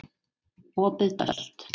Opið Tölt